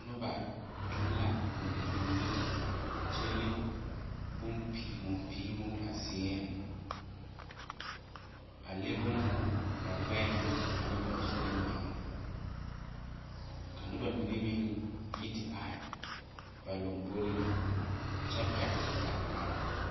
Noba tuŋ la gontuŋhi kyɛ le bon penhimon penhimon ba seɛŋ a le būūhū ba gbɛɛŋ ane ba zurre meŋ ka noba mine meŋ yi ye aihi ba lomboreŋ kyɛ pɛgle gangarre.